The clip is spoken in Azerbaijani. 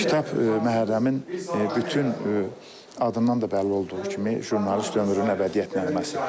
Bu kitab Məhərrəmin bütün adından da bəlli olduğu kimi jurnalist ömrünün əbədiyyət nəğməsidir.